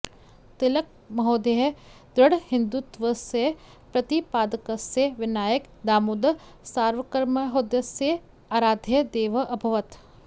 तिलकमहोदयः दृढहिन्दुत्वस्य प्रतिपादकस्य विनायक दामोदर सावर्कर्महोदयस्य आराध्यः देवः अभवत्